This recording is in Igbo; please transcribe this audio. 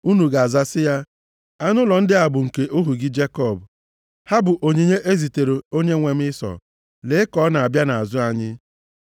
Unu ga-aza sị ya, ‘Anụ ụlọ ndị a bụ nke ohu gị Jekọb. Ha bụ onyinye e zitere onyenwe m Ịsọ, lee ka ọ na-abịa nʼazụ anyị.’ ”